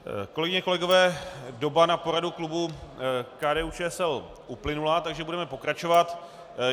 Kolegyně, kolegové, doba na poradu klubu KDU-ČSL uplynula, takže budeme pokračovat.